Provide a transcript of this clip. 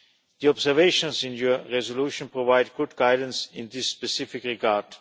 The observations in your resolution provide good guidance in this specific regard.